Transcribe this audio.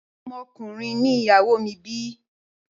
Ọmọ ọkùnrin ni ìyàwó mi bi.